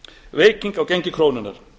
veiking á gengi krónunnar